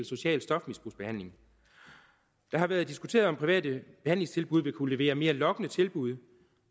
social stofmisbrugsbehandling det har været diskuteret om private behandlingstilbud vil kunne levere mere lokkende tilbud